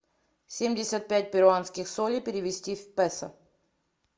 семьдесят пять перуанских солей перевести в песо